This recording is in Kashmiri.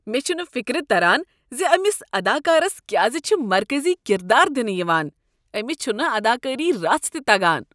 مےٚ چھنہٕ یہ فکر تران ز أمس اداکارس کیٛاز چھ مرکزی کردار دنہٕ یوان۔ أمس چھنہٕ اداکٲری رژھ تہ تگان۔